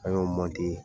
An y'o